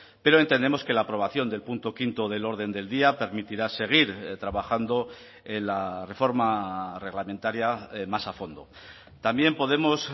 pero entendemos que la aprobación del punto quinto del orden del día permitirá seguir trabajando en la reforma reglamentaria más a fondo también podemos